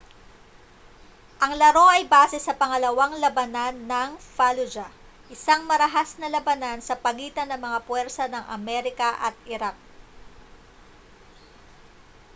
ang laro ay base sa pangalawang labanan ng fallujah isang marahas na labanan sa pagitan ng mga puwersa ng amerika at iraq